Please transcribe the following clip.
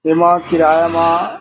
एमा किराया मा--